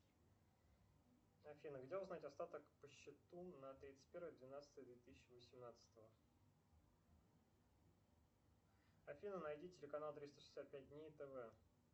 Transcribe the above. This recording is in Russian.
афина где узнать остаток по счету на тридцать первое двенадцатое две тысячи восемнадцатого афина найди телеканал триста шестьдесят пять дней тв